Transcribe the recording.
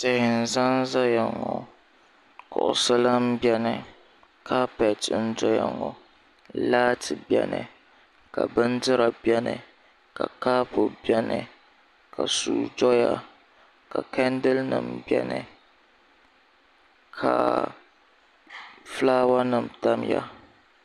Tihi n-za n-zaya ŋɔ kuɣusi lahi beni kaapɛti n-dɔya ŋɔ laati beni ka bindira beni ka kɔpu beni ka sua doya ka chɛndirinima beni ka fulaawanima tamya